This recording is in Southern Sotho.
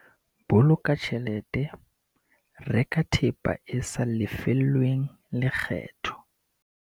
Boloka tjhelete- Reka thepa e sa lefellweng lekgetho